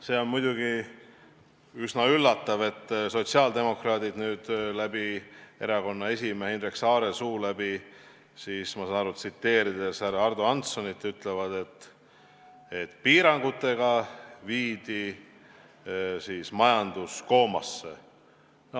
See on muidugi üsna üllatav, et sotsiaaldemokraadid erakonna esimehe Indrek Saare suu läbi, ma sain aru, tsiteerides härra Ardo Hanssonit, ütlesid, et piirangutega viidi majandus koomasse.